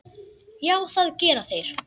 Já, það gera þeir.